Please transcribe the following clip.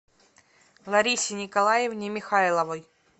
ларисе николаевне михайловой